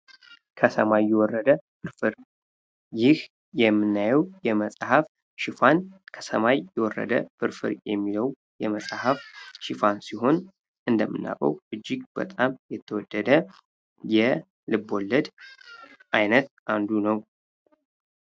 ከሰማይ የወረደ ፍርፍር ይህ የምናየው የመጽሐፍ ሽፋን ከሰማይ የወረደ ፍርፍር የሚለው የመጽሐፍ ሽፋን ሲሆን፤ እንደምናውቀው እጅግ በጣም የተወደደ የልብወለድ ዓይነት አንዱ ነው።